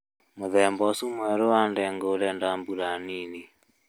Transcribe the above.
Mũthemba ũcio mwerũ wa ndengũ ũrenda mbura nini